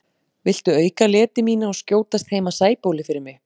Viltu auka leti mína og skjótast heim að Sæbóli fyrir mig?